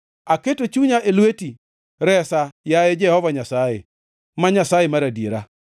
Aketo chunya e lweti; resa, yaye Jehova Nyasaye, ma Nyasaye mar adiera.